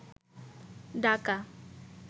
ডাকা